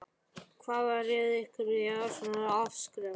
Hvað réði því að ákveðið var að afskrifa?